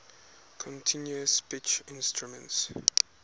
continuous pitch instruments